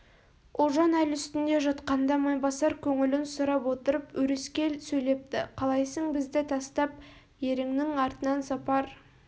ұлжан әл үстінде жатқанда майбасар көңілін сұрап отырып өрескел сөйлепті қалайсың бізді тастап еріңнің артынан сапар